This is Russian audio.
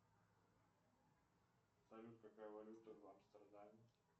салют какая валюта в амстердаме